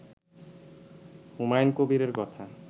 হুমায়ুন কবিরের কথা